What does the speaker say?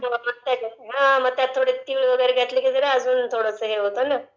हम्म् लक्षात नाही येतं...हा मग त्याच्यात तीळ वैगरे घालून अजून थोडसं हे होत ना